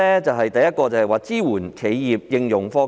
第一，是支援企業應用科技。